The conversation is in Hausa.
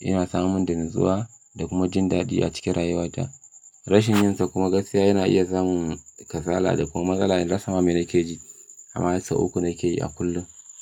ina samun natsuwa da kuma jin daɗi a cikin rayuwata. Rashin yin sa kuma gaskiya yana iya zamun kasala da kuma matsala in rasa ma me nake ji. Amma sau uku nake yi a kullum.